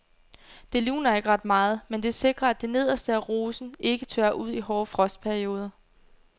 Det luner ikke ret meget, men det sikrer at det nederste af rosen ikke tørrer ud i hårde frostperioder.